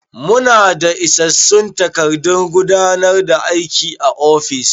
Mu na daa isassun takardun gudanar da aiki a ofis